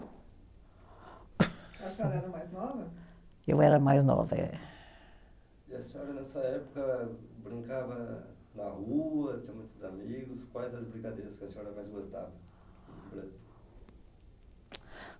A senhora era a mais nova? Eu era a mais nova, é. E a senhora nessa época brincava na rua? Tinha muitos amigos? Quais as brincadeiras que a senhora mais gostava?